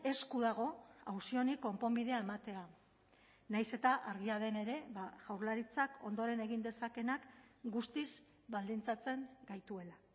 esku dago auzi honi konponbidea ematea nahiz eta argia den ere jaurlaritzak ondoren egin dezakeenak guztiz baldintzatzen gaituela